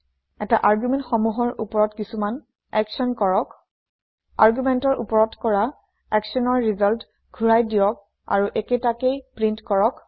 এই আৰ্গুমেণ্ট সমূহৰ ওপৰত কিছুমান একচ্যন কৰক আৰ্গুমেণ্ট ৰ ওপৰত কৰা একচ্যনৰ ৰিজাল্ট ঘূৰাই দিয়ক আৰু একেতাকেই প্ৰিন্ট কৰক